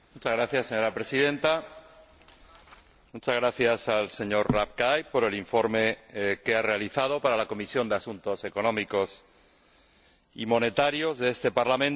Señora Presidenta, muchas gracias al señor Rapkay por el informe que ha realizado para la Comisión de Asuntos Económicos y Monetarios de este Parlamento.